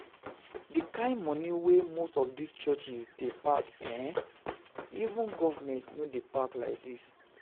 The kyn money wey most of dis churches dey pack eh, even government no dey pack like dis